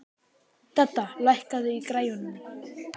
Dedda, lækkaðu í græjunum.